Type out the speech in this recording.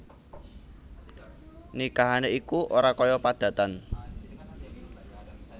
Nikahané iku ora kaya padatan